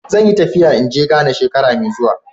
Zan yi tafiya in ge Ghana shekara mai zuwa.